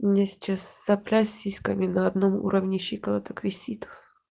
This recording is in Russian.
у меня сейчас сопля с сиськами на одном уровне щиколоток висит